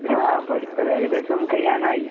ആഹ് പഠിപ്പൊക്കേകദേശം കഴിയാനായി.